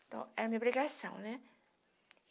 Então, era uma obrigação, né?